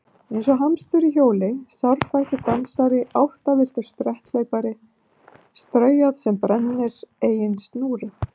Eins og hamstur í hjóli sárfættur dansari áttavilltur spretthlaupari straujárn sem brennir eigin snúru